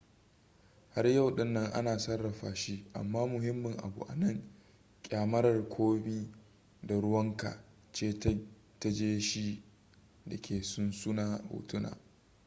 har yau din nan ana sarrafa shi amma muhimmin abu a nan kyamarar komi da ruwanka ce ta gaje shi da ke sunsuno hotuna